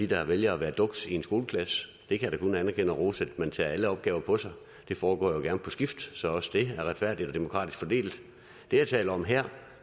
der vælger at være dukse i en skoleklasse jeg kan da kun anerkende og rose at man tager alle opgaver på sig det foregår jo gerne på skift så også det er retfærdigt og demokratisk fordelt det jeg taler om her